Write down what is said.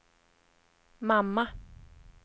mamma